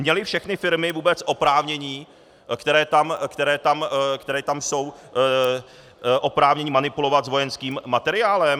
Měly všechny firmy vůbec oprávnění, které tam jsou, oprávnění manipulovat s vojenským materiálem?